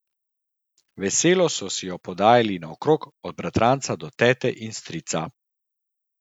Veselo so si jo podajali naokrog, od bratranca do tete in strica.